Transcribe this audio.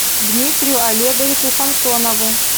дмитрию олеговичу самсонову